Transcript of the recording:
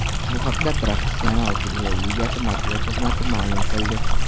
Bu haqda Professional futbol Ligasi matbuot xizmati ma’lum qildi .